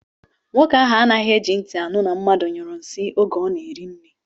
Nwoke ahụ anaghị eji ntị anụ na mmadụ nyụrụ nsị oge ọ na-eri nri